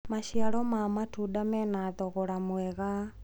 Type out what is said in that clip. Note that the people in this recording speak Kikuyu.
maciaro ma matunda mena thogora mwega